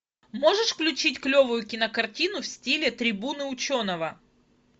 можешь включить клевую кинокартину в стиле трибуна ученого